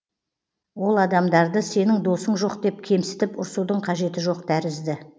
ол адамдарды сенің досың жоқ деп кемсітіп ұрсудың қажеті жоқ тәрізді